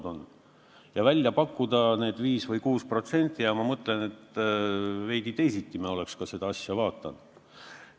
Kui nad oleks välja pakkunud määra 5% või 6%, siis me oleks seda eelnõu ehk teisiti vaadanud.